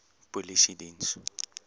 polisiediens